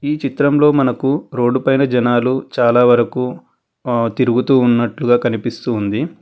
ఈ చిత్రంలో మనకు రోడ్డు పైన జనాలు చాలా వరకు ఆ తీరుగుతున్నట్లుగా కనిపిస్తూ ఉంది.